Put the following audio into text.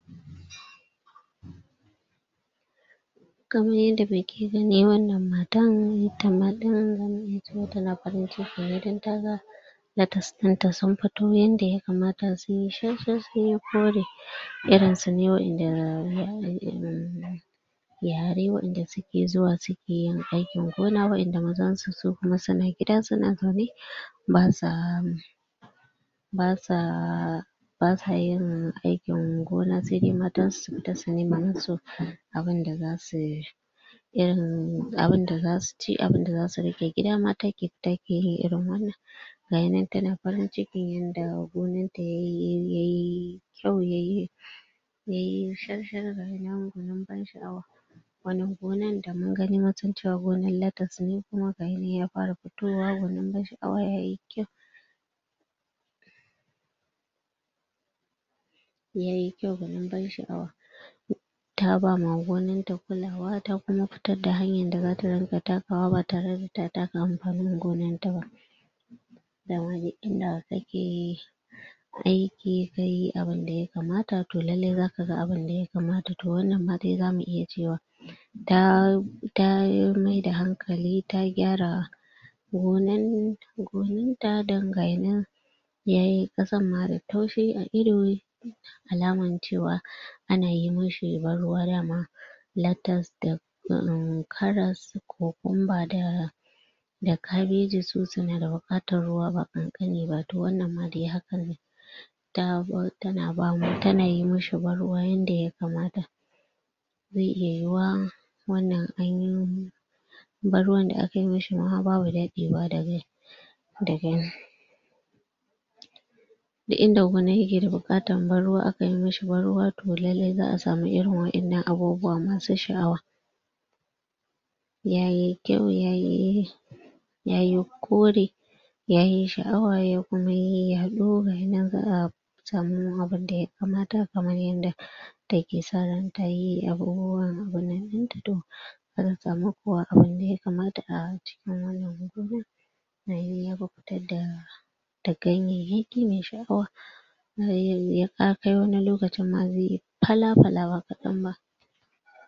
Kaman yanda muke gani wannan matan ta don taga latas ɗin ta sun fito yanda ya kamata sun yi shar-shar sunyi kore. Irin su ne waƴanda za'a yi irin yare waƴanda suke zuwa suke yin aikin gona waƴanda mazan su kuma su na gida su na zaune ba sa ba sa yin aikin gona sai dai matansu su fita su nema musu abinda za su irin abunda za su ci abunda za su ra ge gida mata ke fita ke irin wannan Gaya nan ta na farin cikin yanda gonan ta yayi yayi kyau yayi yayi shar shar ga shi nan gwanin ban sha'awa Wannan gonan da mun gani mun san cewa gona la tas ne kuma ga ya nan ya fara fitowa gwanin ban sha'awa yayi kyau yayi kyau gwanin ban sha'awa. Ta ba ma gonan ta kulawa ta kuma fitadda hanyan da rinƙa takawa ba tare da ta taka amfanin gonan ta ba. Dama duk inda kake aiki kayi abunda ya kamata to lalle za ka ga abunda ya kamata. To wannan ma dai zamu iya cewa ta ta maida hankali ta gyara gonan gonan ta don gaya nan yayi ƙasan ma da taushi a ido alaman cewa ana yi mashi ban ruwa dama latas da um karas, kokumba da da kabeji su suna da buƙatar ruwa ba ƙanƙani ba to wannan ma dai hakan ne ta ba ta na bama, ta na yi mishi ban ruwa yanda ya kamata. Zai iya yiwuwa wannan anyi ban ruwan da aka yi mishi ma babu daɗewa da dade duk inda gona yake da buƙatan ban ruwa aka yi mishi ban ruwa to lallai za'a samu irin waƴannan abubuwa masu sha'awa Yayi kyau, yayi yayi kore yayi sha'awa ya kuma yi yaɗo gaya nan za'a samu abunda ya kamata kamar yanda take sa ran tayi abun ruwan abun nan ɗin ta to za ta samu abunda ya kamata kuwa a a wannan gona ayi aka fitadda da da ganyayyaki mai sha'awa ga ya a kai wani lokacin ma zai fala-fala ba kaɗan ba.